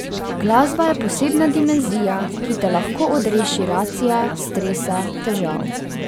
Glasba je posebna dimenzija, ki te lahko odreši racia, stresa, težav.